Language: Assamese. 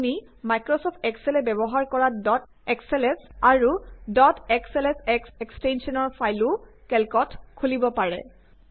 আপুনি মাইক্ৰছফ্ট এক্সেলে ব্যৱহাৰ কৰা ডট এসএলএছ আৰু ডট এছএলএছএস এক্সটেঞ্চনৰ ফাইলো কেল্কত খুলিব পাৰে